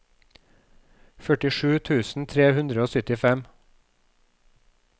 førtisju tusen tre hundre og syttifem